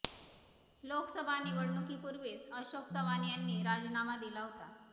लोकसभा निवडणुकीपूर्वीच अशोक चव्हाण यांनी राजीनामा दिला होता